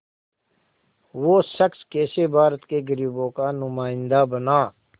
वो शख़्स कैसे भारत के ग़रीबों का नुमाइंदा बना